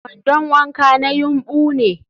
kwandon wanka na yumbu ne